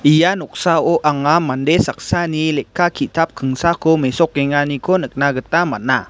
ia noksao anga mande saksani lekka kitap kingsako mesokenganiko nikna gita man·a.